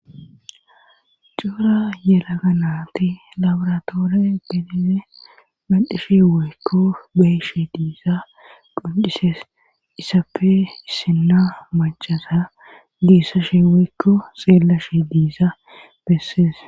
cuura yelaganaati labratoore gelize macishi weykko beyshi diisa qoncisees isappe issinna macasa diissa she weykko xeella shi diisa bessees